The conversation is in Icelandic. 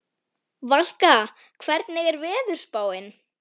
Settu á þig vængina og fljúgðu til mín.